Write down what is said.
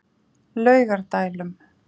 Laugardælum